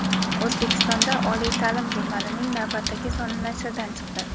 "O‘zbekistonda oliy taʼlim" jurnalining navbatdagi soni nashrdan chiqdi.